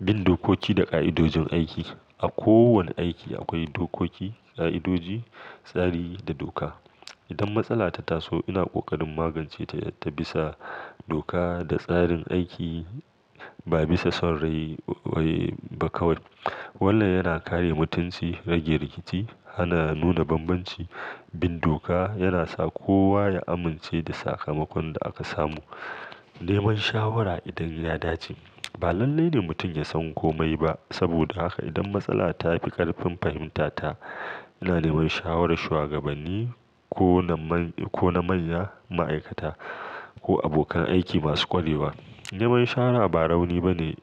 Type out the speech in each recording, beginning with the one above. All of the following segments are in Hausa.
Bin dokoki da ƙa'idojin aiki. A kowane aiki akwai dokoki, ƙa'idoji, tsari da doka. Idan matsala ta taso ina ƙoƙarin maganceta ta bisa doka da tsarin aiki ba bisa son rai waiba kawai. Wannan yana kare mutunci, rage rikici, hana nuna banbanci. Bin doka yana sa kowa ya amince da sakamakon da aka samu. Neman shawara idan ya dace. Ba lalle ne mutum yasan komai ba. Saboda haka idan matsala tafi ƙarfin fahimta ta, ina neman shawarar shuwagabanni, kona man-ko na manya ma'aikata. Ko abokan aiki masu ƙwarewa. Neman shawara ba rauni ba ne,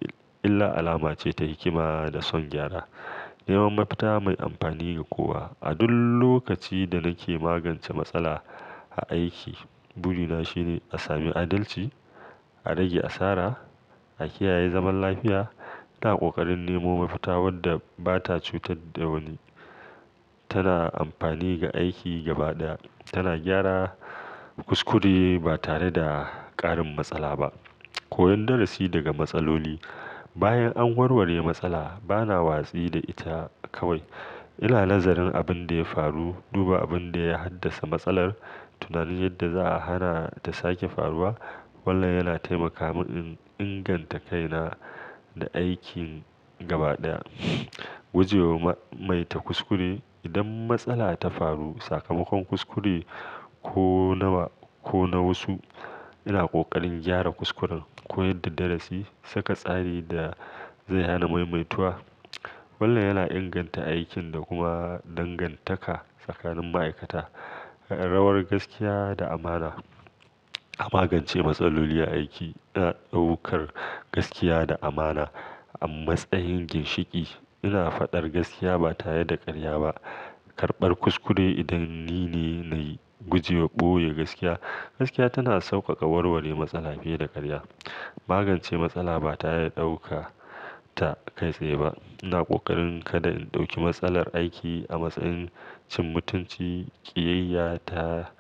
illa alama ce ta hikima da son gyara. Nemo mafita mai amfani ga kowa. A duk lokacin da nake magance matsala a aiki, burina shine a sami adalci, a rage asara, a kiyaye zaman lafiya. Ina ƙoƙarin nemo mafita wadda ba ta cutar da wani, tana amfani ga aiki gaba ɗaya, tana gyara kuskure batare da ƙarin matsala ba. Koyon darasi daga matsaloli. Bayan an warware matsala bana watsi da ita kawai. Ina nazarin abinda ya faru, duba abinda ya haddasa matsalar, tunanin yadda za'a hana ta sake faruwa. Wannan yana taimaka min in inganta kaina da aikin gaba ɗaya. Gujewa maimaita kuskure. Idan matsala ta faru, sakamakon kuskure ko nawa kona wasu, ina ƙoƙarin gyara kuskuren, koyon darasi, saka tsari da zai hana maimaituwa. Wannan yana inganta aikin da kuma dangantaka tsakanin ma'aikata. Rawar gaskiya da amana. A magance matsaloli a aiki, ina ɗaukar gaskiya da amana a matsayin ginshiƙi. Ina faɗar gaskiya ba tare da karya ba. Karɓar kuskure idan nine nayi. Gujewa ɓoye gaskiya. Gaskiya tana sauƙaƙa warware matsala fiye da karya. Magance matsala batare daukar ta kai tsaye ba. Ina ƙoƙarin kada in ɗauki matsalar aiki a matsayin cin mutunci, ƙiyayya ta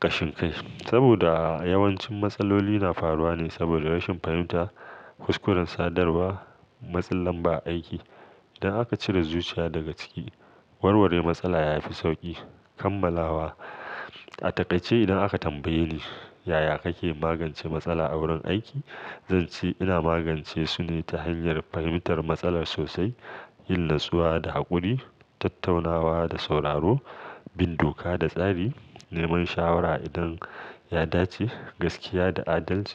ƙashin kai. Saboda yawancin matsaloli na faruwa ne saboda rashin fahimta, kuskuren sadarwa, matsin lamba a aiki. Idan aka cire zuciya daga ciki, warware matsala yafi sauƙi. Kamalawa. A taƙaice idan aka tambaye ni yaya kake magance matsala a wurin aiki, zan ce ina magance sune ta hanyar fahimtar matsalar sosai, yin natsuwa da haƙuri, tattaunawa da sauraro, bin doka da tsari, neman shawara idan ya dace, gaskiya da adalci.